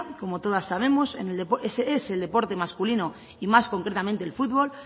como todas sabemos es el deporte masculino y más concretamente el futbol